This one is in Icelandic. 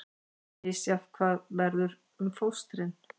Misjafnt hvað verður um fóstrin